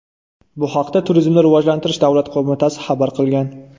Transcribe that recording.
Bu haqda Turizmni rivojlantirish davlat qo‘mitasi xabar qilgan .